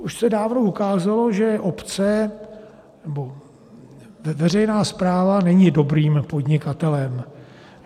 Už se dávno ukázalo, že obce, nebo veřejná správa, nejsou dobrým podnikatelem.